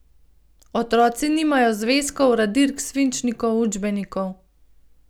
Otroci nimajo zvezkov, radirk, svinčnikov, učbenikov.